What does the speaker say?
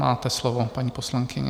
Máte slovo, paní poslankyně.